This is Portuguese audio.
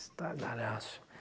Estardalhaço.